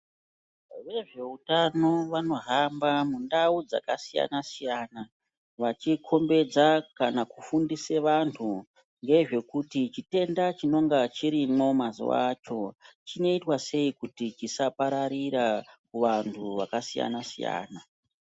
Vezveutano vanohamba mundau dzakasiyana siyana vachikombedza kana kufundise vantu ngezvekuti chitenda chinenge chirimwo mazuwa acho chinoitwa sei kuti chisapararira kuvantu vakasiyana siyana.